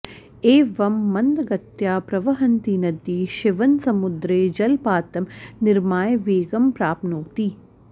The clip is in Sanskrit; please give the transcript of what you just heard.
एवं मन्दगत्या प्रवहन्ती नदी शिवनसमुद्रे जलपातं निर्माय वेगं प्राप्नोति